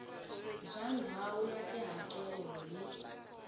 bya ndhawu ya tihakelo hi